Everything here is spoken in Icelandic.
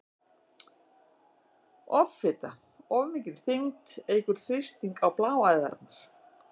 Offita- Of mikil þyngd eykur þrýsting á bláæðarnar.